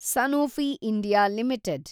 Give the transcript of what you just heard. Sanofi India limited